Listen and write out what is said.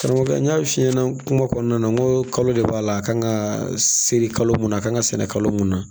Karamɔgɔkɛ n y'a f'i ɲɛna kuma kɔnɔna na n ko kalo de b'a la a kan ka seri kalo mun na a kan ka sɛnɛ kalo mun na